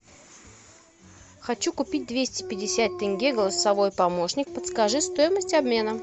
хочу купить двести пятьдесят тенге голосовой помощник подскажи стоимость обмена